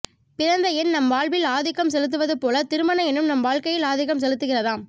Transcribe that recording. பிறந்த எண் நம் வாழ்வில் ஆதிக்கம் செலுத்துவது போல திருமண எண்ணும் நம் வாழ்க்கையில் ஆதிக்கம் செலுத்துகிறதாம்